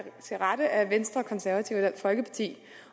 til rette af venstre og konservative